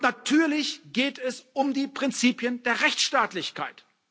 Natürlich geht es um die Prinzipien der Rechtsstaatlichkeit.